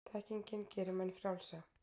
þekkingin gerir menn frjálsa